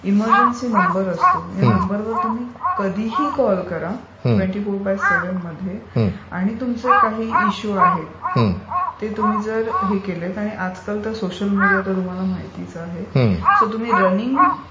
emergency number असतो त्या नंबरवर तुम्ही कधीही कॉल करा ट्वेंटी फोर बाय सेव्हनमध्ये आणि तुमचे काही इश्यू आहेत ते तुम्ही जर हे केले आजकाल तर सोशल मीडिया तर तुम्हाला माहितीच आहे, सो तुम्ही रनिंग